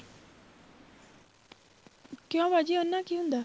ਕਿਉਂ ਬਾਜੀ ਉਹਦੇ ਨਾਲ ਕੀ ਹੁੰਦਾ